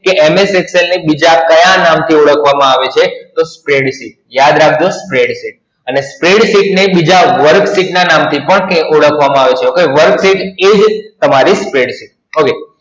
કે MS Excel ને બીજા ક્યાં નામ થી ઓળખવામાં આવે છે? તો Spreadsheet. યાદ રાખો Spreadsheet. અને Spread sheet ને બીજા work sheet ના નામ થી પણ કે ઓળખવામાં આવે છે. work sheet એ જ તમારી Spread sheet OK